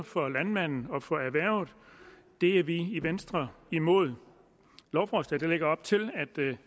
for landmanden og for erhvervet det er vi i venstre imod lovforslaget lægger op til at